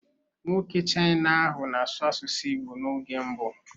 Nwoke China ahụ na-asụ asụsụ Igbo n'oge mbụ